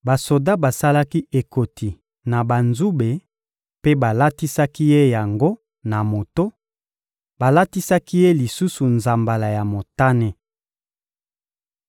Basoda basalaki ekoti na banzube mpe balatisaki Ye yango na moto; balatisaki Ye lisusu nzambala ya motane.